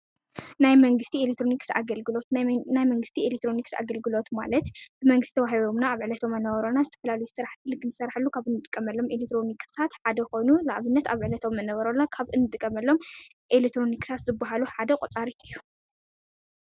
ናይ መንግስቲ ኤሌትሮንክስ ኣገልግሎት ናይ መንግስቲ ኤሌትሮንክስ ኣገልግሎት ማለት ብመንግስቲ ተዋሂቦምና ኣብ ዕለታዊ መነባብሮና ዝተፈላለዩ ስራሕቲ ንኽንሰርሓሉ ኻብ እንጥቀመሎም ኤልትሮኒክሳት ሓደ ኾይኑ ንኣብነት ኣብ ዕለታዊ መነበሮ ካብ እንጥቀመሎም ኤሌትሮንክሳት ዝብሃሉ ሓደ ቖፃሪት እዩ፡፡